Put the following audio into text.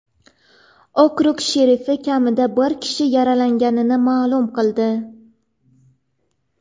Okrug sherifi kamida bir kishi yaralanganini ma’lum qildi.